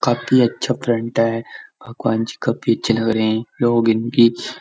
काफी अच्छा फ्रंट है भगवान जी काफी अच्छे लग रहे हैं लोग इनकी --